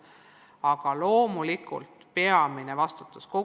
Aga loomulikult peamine vastutus on noortel endil.